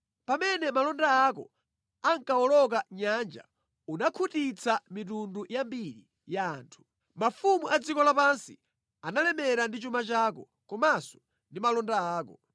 Pamene malonda ako ankawoloka nyanja unakhutitsa mitundu yambiri ya anthu. Mafumu a dziko lapansi analemera ndi chuma chako komanso ndi malonda ako.